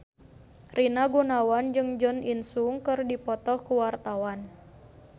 Rina Gunawan jeung Jo In Sung keur dipoto ku wartawan